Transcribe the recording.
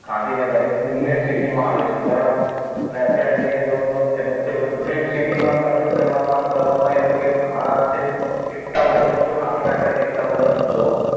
કે ગાંધીનગર એ greener city માં આવે છે બરાબર ને અત્યારે જઈને જુઓ તો એ બધે બધું green city માં convert કરવા માને કરવામાં એ લોકો એ ઘણા અંશે એટલા બધા વૃક્ષો કાપી નાખ્યા છે એટલા બધા વૃક્ષો